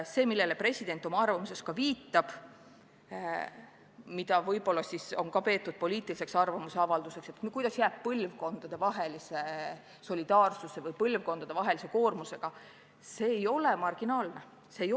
See, millele president oma arvamuses viitab ja mida on peetud poliitilise arvamuse avaldamiseks – kuidas jääb põlvkondadevahelise solidaarsusega, põlvkondade erineva koormusega –, ei ole marginaalne küsimus.